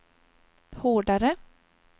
hårdare